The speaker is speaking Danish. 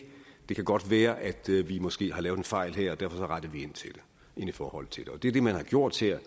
det kan godt være at vi måske har lavet en fejl her og derfor retter vi ind i forhold til det det er det man har gjort her